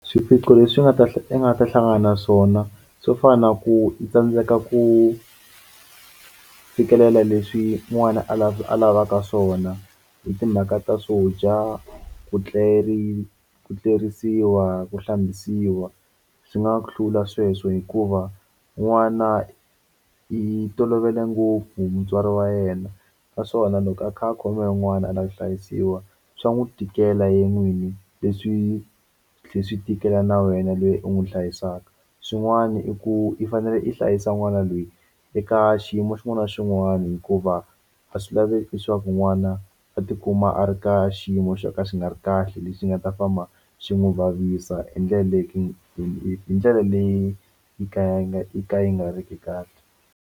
Swiphiqo leswi nga ta a nga ta hlangana na swona swo fana na ku i tsandzeka ku fikelela leswi n'wana a la a lavaka swona hi timhaka ta swo dya ku tleri ku tlerisiwa ku hlambisiwa swi nga ku hlula sweswo hikuva n'wana i tolovele ngopfu mutswari wa yena naswona loko a kha a khomiwa hi un'wana a lava ku hlayisiwa swa n'wi tikela yena n'wini leswi swi tlhela swi tikela na wena loyi u n'wi hlayisaka xin'wana i ku i fanele i hlayisa n'wana lweyi eka xiyimo xin'wana na xin'wana hikuva a swi laveki leswaku n'wana a tikuma a ri ka xiyimo xo ka xi nga ri kahle lexi nga ta famba xi n'wi vavisa hi ndlela leyi hi ndlela leyi yi ka yi ka yi nga ri ki kahle.